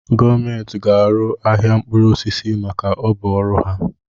Gọọmenti ga arụ ahịa mkpụrụ osisi maka ọ bu ọrụ ha.